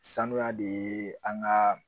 Sanuya de ye an ka